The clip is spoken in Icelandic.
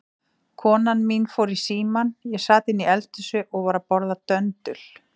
Konan mín fór í símann, ég sat inni í eldhúsi og var að borða döndul.